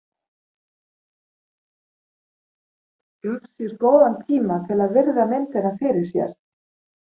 Gaf sér góðan tíma til að virða myndina fyrir sér.